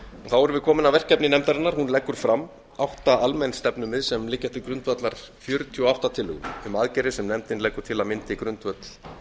við komin að verkefni nefndarinnar hún leggur fram átta almenn stefnumið sem liggja til grundvallar fjörutíu og átta tillögum um aðgerðir sem nefndin leggur til að myndi grundvöll